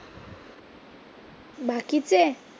बाकीचे?